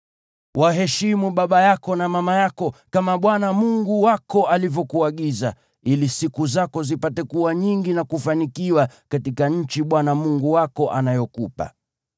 Waheshimu baba yako na mama yako, kama Bwana Mungu wako alivyokuagiza, ili siku zako zipate kuwa nyingi na kufanikiwa katika nchi Bwana Mungu wako anayokupa.